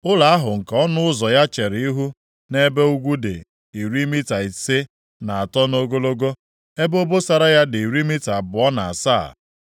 Ụlọ ahụ nke ọnụ ụzọ ya chere ihu nʼebe ugwu dị iri mita ise na atọ nʼogologo, ebe obosara ya dị iri mita abụọ na asaa.